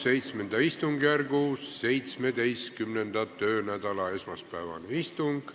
Täiskogu VII istungijärgu 17. töönädala esmaspäevane istung.